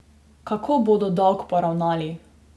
Kako bodo dolg poravnali?